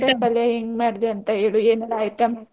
ಬೆಂಡೆಕಾಯಿ ಪಲ್ಯ ಹೆಂಗ್ ಮಾಡ್ದೆ ಅಂತ ಹೇಳು ಏನೆಲ್ಲಾ item ?